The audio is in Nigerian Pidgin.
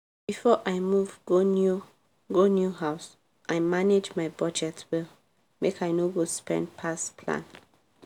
before i move go new go new house i manage my budget well make i no go spend pass plan.